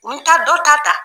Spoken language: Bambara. N ta dɔ ta ta.